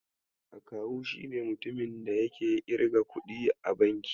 Akawu shine mutumin da yake irga kuɗi a banki.